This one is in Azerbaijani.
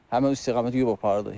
Həmin istiqamətə yub apardı.